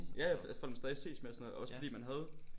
Ja ja folk man stadig ses med og sådan noget også fordi man havde